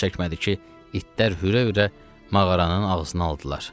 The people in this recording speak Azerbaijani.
Çox çəkmədi ki, itlər hürə-hürə mağaranın ağzına aldılar.